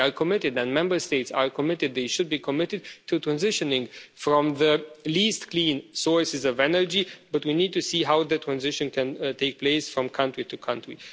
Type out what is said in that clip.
We are committed and Member States are committed they should be committed to transitioning from the least clean sources of energy, but we need to see how the transition can take place from country to country.